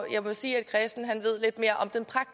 sige at